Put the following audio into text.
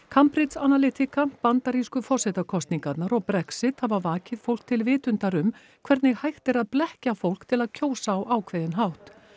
Cambridge Analytica bandarísku forsetakosningarnar og Brexit hafa vakið fólk til vitundar um hvernig hægt er að blekkja fólk til að kjósa á ákveðinn hátt